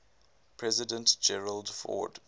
president gerald ford